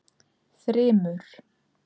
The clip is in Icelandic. Þrymur